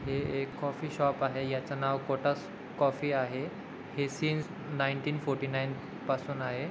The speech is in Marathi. हे एक कॉफी शॉप आहे याच नाव कोटस कॉफी आहे हे सीन्स नाइनटीन फोर्टीनाइन पासून आहे.